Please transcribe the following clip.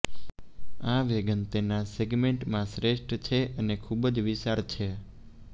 આ વેગન તેના સેગમેન્ટમાં શ્રેષ્ઠ છે અને ખૂબ જ વિશાળ છે